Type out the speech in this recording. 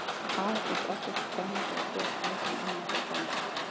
Afa finnst alltaf svo spennandi að gera það sem amma hefur bannað.